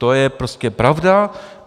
To je prostě pravda.